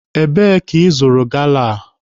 Ebe ka ị zụrụ gala a?